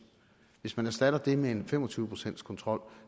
hvis man erstatter det med en fem og tyve procents kontrol